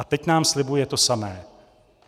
A teď nám slibuje to samé.